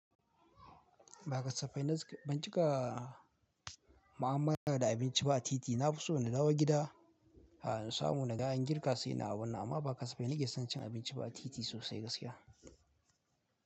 Ba kasafai na ci, ban cika ma'amala da abinci ba a titi. Na fi so na dawo gida, a na samu naga an girka sai na abunnan, amma ba kasafai na ke son cin abinci ba a titi sosai gaskiya.